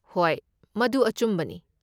ꯍꯣꯏ, ꯃꯗꯨ ꯑꯆꯨꯝꯕꯅꯤ꯫